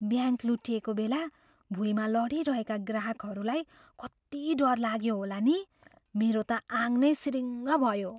Bank लुटिएको बेला भुइँमा लडिरहेका ग्राहकहरूलाई कति डर लाग्यो होला नि? मेरो त आङ नै सिरिङ्ङ भयो।